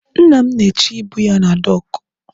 Nna m na-eche ibu ya na dọọkụ.